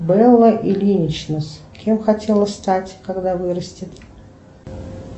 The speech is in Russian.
белла ильинична кем хотела стать когда вырастет